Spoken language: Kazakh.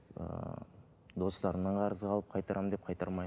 ы достарымнан қарызға алып қайтарамын деп қайтармай